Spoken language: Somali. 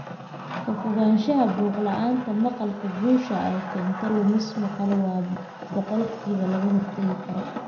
Ka Fogaanshaha Buuq La'aanta Maqalka Guusha ay keento lumis maqal waa boqolkiiba laga hortagi karo.